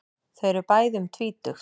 Þau eru bæði um tvítugt.